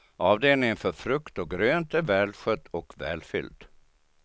Avdelningen för frukt och grönt är välskött och välfylld.